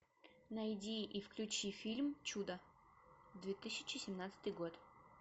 найди и включи фильм чудо две тысячи семнадцатый год